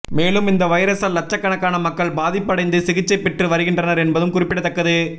மேலும் இந்த வைரஸால் லட்சக்கணக்கான மக்கள் பாதிப்பு அடைந்து சிகிச்சை பெற்று வருகின்றனர் என்பதும் குறிப்பிடத்தக்கது